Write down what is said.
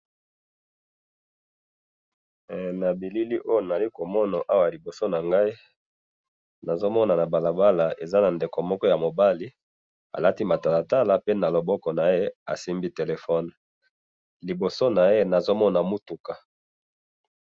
na bilili oyo nazali komona liboso na ngai, nazo mona na balabala eza na ndeko moko ya mobali, alati matalatala pe na loboko naye asimbi téléphone, liboso naye nazo mona mutuka